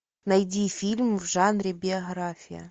найди фильм в жанре биография